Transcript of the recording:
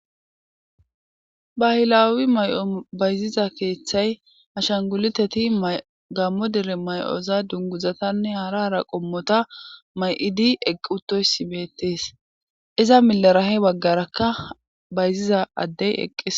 bayilawi may7o bayziza keeththay hashanguliteti gammo dere may7oza dunguzatanne hara ra qommota may7idi eqqutoysi beettees iza milarahe baggarakka bayziza addey eqqis